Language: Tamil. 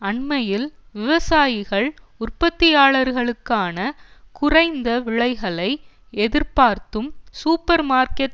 அண்மையில் விவசாயிகள் உற்பத்தியாளருக்கான குறைந்த விலைகளை எதிர்பார்த்தும் சூப்பர் மார்க்கட்